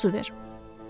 Doyunca su ver.